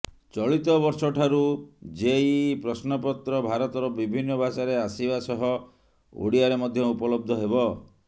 ଚଳିତ ବର୍ଷଠାରୁ ଜେଇଇ ପ୍ରଶ୍ନପତ୍ର ଭାରତର ବିଭିନ୍ନ ଭାଷାରେ ଆସିବା ସହ ଓଡିଆରେ ମଧ୍ୟ ଉପଲବ୍ଧ ହେବ